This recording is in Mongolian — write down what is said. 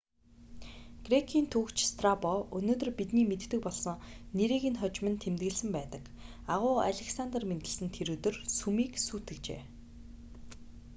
грекийн түүхч страбо өнөөдөр бидний мэддэг болсон нэрийг хожим нь тэмдэглэсэн байдаг агуу александр мэндэлсэн тэр өдөр сүмийг сүйтгэжээ